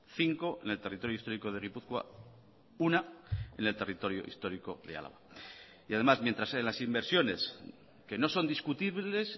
cinco en el territorio histórico de gipuzkoa una en el territorio histórico de álava y además mientras en las inversiones que no son discutibles